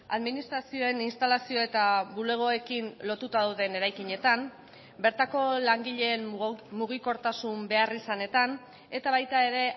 administrazioen instalazio eta bulegoekin lotuta dauden eraikinetan bertako langileen mugikortasun beharrizanetan eta baita ere